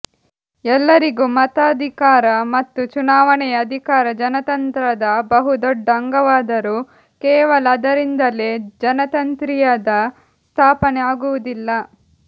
ಎಲ್ಲರಿಗೂ ಮತಾಧಿಕಾರ ಮತ್ತು ಚುನಾವಣೆಯ ಅಧಿಕಾರ ಜನತಂತ್ರದ ಬಹು ದೊಡ್ಡ ಅಂಗವಾದರೂ ಕೇವಲ ಅದರಿಂದಲೇ ಜನತಂತ್ರೀಯದ ಸ್ಥಾಪನೆ ಆಗುವುದಿಲ್ಲ